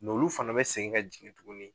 N' olu fana bɛ segin ka jigin tuguni.